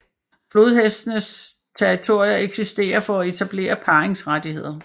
Flodhestes territorier eksisterer for at etablere parringsrettigheder